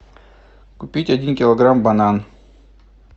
купить один килограмм банан